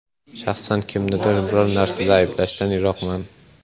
Shaxsan kimnidir biror narsada ayblashdan yiroqman.